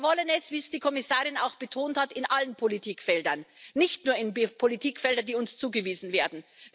Und wir wollen es wie es die Kommissarin auch betont hat in allen Politikfeldern, nicht nur in Politikfeldern, die uns zugewiesen werden.